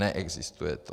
Neexistuje to.